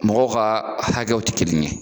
Mɔgɔw ka hakɛw tɛ kelen ye.